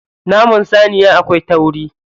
Naman saniya akwai tauri.